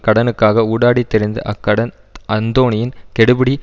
கடனுக்காக ஊடாடித் திரிந்து அக்கடன் அந்தோனியின் கெடுபிடி